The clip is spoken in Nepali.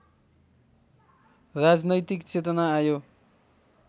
राजनैतिक चेतना आयो